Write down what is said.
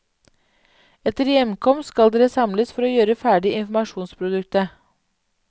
Etter hjemkomst skal dere samles for å gjøre ferdig informasjonsproduktet.